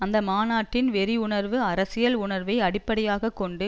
அந்த மாநாட்டின் வெறி உணர்வு அரசியல் உணர்வை அடிப்படையாக கொண்டு